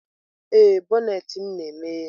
Ee, bonnet na-emeghe.